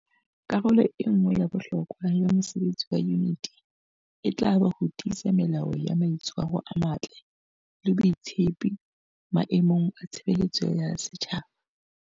Karolo e nngwe ya bohlokwa ya mosebetsi wa Yuniti e tla ba ho tiisa melao ya mai tshwaro a matle le botshepehi maemong a tshebeletso ya setjhaba.